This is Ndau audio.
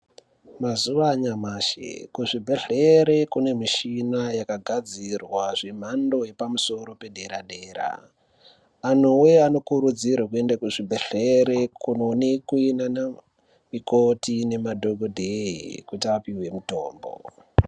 Mazuwa anyamashi kuzvibhedhlere kune mishina yakagadzirwa zvemhando yepamusoro pedera-dera. Anhuwee anokurudzirwe kuende kuzvibhedhlere kunoonekwe naanamikoti nemadhokodheye kuti apihwe mitombo.